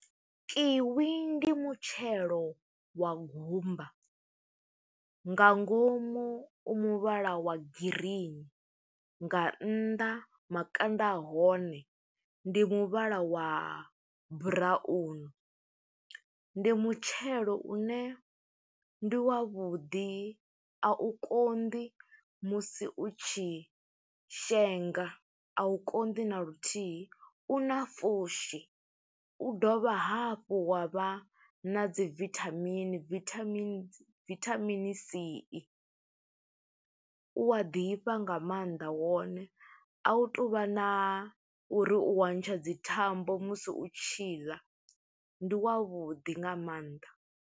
Kiwi ndi mutshelo wa gumba, nga ngomu u muvhala wa green, nga nnḓa makanda a hone ndi muvhala wa brown. Ndi mutshelo une ndi wavhuḓi, a u konḓi musi u tshi shenga, a u konḓi na luthihi. U na pfushi, u dovha hafhu wa vha na dzi vithamini vithamini vithamini C. U a ḓifha nga maanḓa wone, a hu tuvha na uri u wa ntsha dzi thambo musi u tshiḽa. Ndi wavhuḓi nga maanḓa.